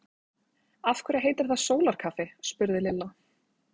Af hverju heitir það sólarkaffi? spurði Lilla.